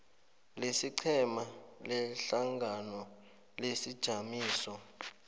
lesiqhema lehlangano lesijamiso